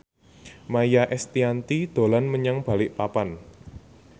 Maia Estianty dolan menyang Balikpapan